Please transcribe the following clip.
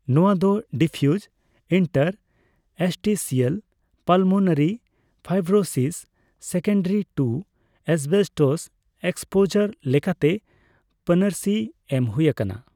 ᱱᱚᱣᱟ ᱫᱚ diffuse interstitial pulmonary fibrosis secondary to asbestos exposure ᱞᱟᱠᱟᱛᱮ ᱯᱟᱹᱱᱟᱹᱨᱤ ᱮᱢ ᱦᱩᱭ ᱟᱠᱟᱱᱟ ᱾